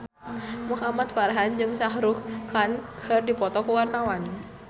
Muhamad Farhan jeung Shah Rukh Khan keur dipoto ku wartawan